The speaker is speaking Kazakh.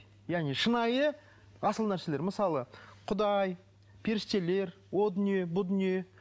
яғни шынайы асыл нәрселер мысалы құдай періштелер о дүние бұл дүние